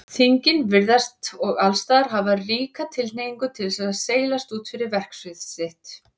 Þingin virðast og allsstaðar hafa ríka tilhneigingu til þess að seilast út fyrir verksvið sitt.